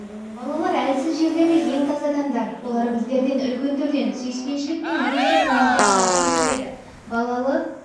балалар әлсіз жердегі ең таза адамдар олар біздерден үлкендерден сүйіспеншілік пен ерекше көңілді қажет етеді балалы